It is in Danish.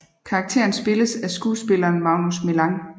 Karakteren spilles af skuespilleren Magnus Millang